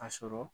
A sɔrɔ